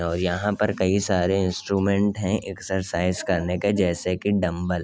और यहाँ पर कई सारे इंस्ट्रूमेंट हैंएक्सरसाइज करने की जैसे के डम्बल --